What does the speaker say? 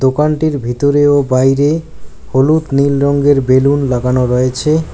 দোকানটির ভিতরে ও বাইরে হলুদ নীল রঙ্গের বেলুন লাগানো রয়েছে।